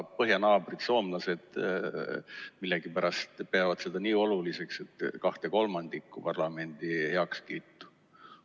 Põhjanaabrid, soomlased, millegipärast peavad seda nii oluliseks, et vajavad kahe kolmandiku parlamendi heakskiitu.